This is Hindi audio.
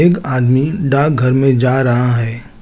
एक आदमी डाकघर में जा रहा है।